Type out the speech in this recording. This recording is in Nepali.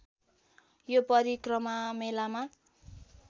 यो परिक्रमा मेलामा